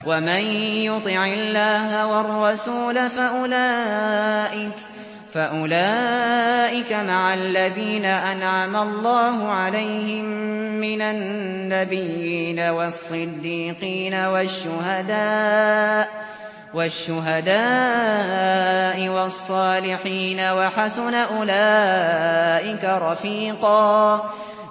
وَمَن يُطِعِ اللَّهَ وَالرَّسُولَ فَأُولَٰئِكَ مَعَ الَّذِينَ أَنْعَمَ اللَّهُ عَلَيْهِم مِّنَ النَّبِيِّينَ وَالصِّدِّيقِينَ وَالشُّهَدَاءِ وَالصَّالِحِينَ ۚ وَحَسُنَ أُولَٰئِكَ رَفِيقًا